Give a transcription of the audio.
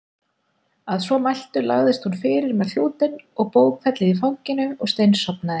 Að svo mæltu lagðist hún fyrir með klútinn og bókfellið í fanginu og steinsofnaði.